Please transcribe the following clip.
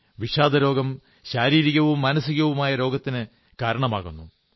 വിഷാദരോഗം ശാരീരികവും മാനസികവുമായ രോഗത്തിന് കാരണമാകുന്നു